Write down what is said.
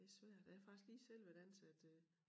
Det svært jeg har faktisk lige selv været ansat øh